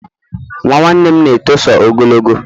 Nwa nwanne m na-etoso ogologo